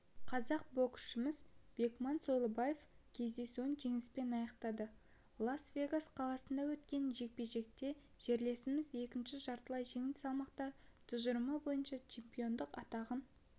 қазақ боксшымыз бекман сойлыбаев кездесуін жеңіспен аяқтады лас вегас қаласында өткен жекпе-жекте жерлесіміз екінші жартылай жеңіл салмақта тұжырымы бойынша чемпиондық атағын